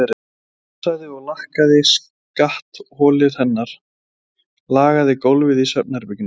Hann pússaði og lakkaði skattholið hennar, lagaði gólfið í svefnherberginu.